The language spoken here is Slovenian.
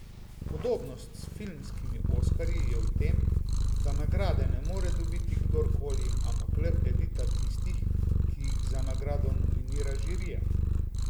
Podobnost s filmskimi oskarji je v tem, da nagrade ne more dobiti kdorkoli, ampak le elita tistih, ki jih za nagrado nominira žirija.